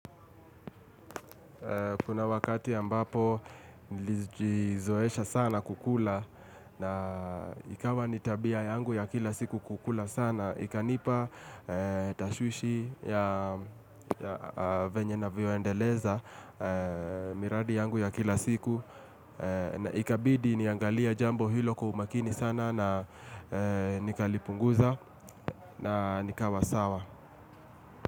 Kuna wakati ambapo nilijizoesha sana kukula na ikawa ni tabia yangu ya kila siku kukula sana. Ikanipa tashwishi ya venye navyoendeleza miradi yangu ya kila siku. Ikabidi niangalie jambo hilo kwa umakini sana na nikalipunguza na nikawa sawa.